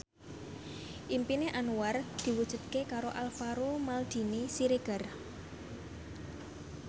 impine Anwar diwujudke karo Alvaro Maldini Siregar